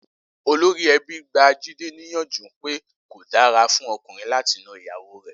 Olórí e̩bí gba Jídé níyànjú pé kò dàra fún o̩kùnrin láti na ìyàwó rè̩